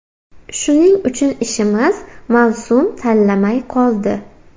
Shuning uchun ishimiz mavsum tanlamay qoldi.